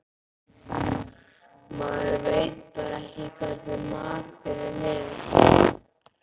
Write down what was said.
Maður veit bara ekki hvernig maturinn er.